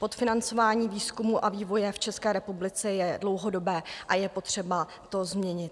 Podfinancování výzkumu a vývoje v České republice je dlouhodobé a je potřeba to změnit.